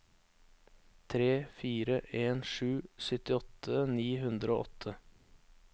tre fire en sju syttiåtte ni hundre og åtte